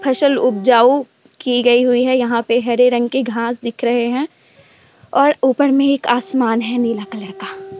फसल उपजाऊ की गई हुई है। यहाँ पे हरे रंग की घास दिख रहे हैं। और ऊपर में एक आसमान है नीला कलर का।